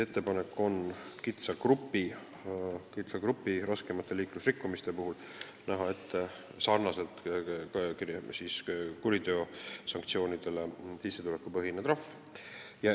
Ettepanek ongi väikese grupi raskemate liiklusrikkumiste eest näha sarnaselt kuriteosanktsioonidega ette sissetulekupõhine trahv.